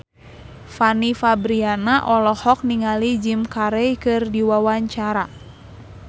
Fanny Fabriana olohok ningali Jim Carey keur diwawancara